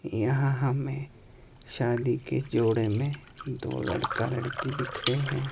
यहां हमें शादी के जोड़े में दो लड़के लड़की दिख रहे--